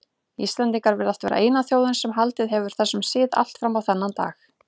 Íslendingar virðast vera eina þjóðin sem haldið hefur þessum sið allt fram á þennan dag.